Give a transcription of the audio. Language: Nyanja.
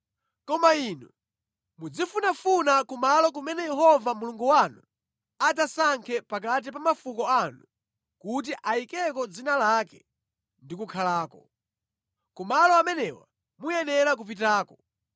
Koma inu muzifunafuna kumalo kumene Yehova Mulungu wanu adzasankhe pakati pa mafuko anu kuti ayikeko dzina lake ndi kukhalako. Ku malo amenewa muyenera kupitako.